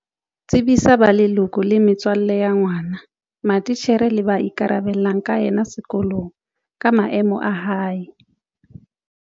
Tsebisa ba leloko le metswalle ya ngwana, matitjhere le ba ikarabellang ka yena sekolong ka maemo a hae.